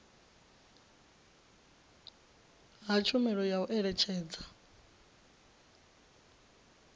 ha tshumelo ya u eletshedza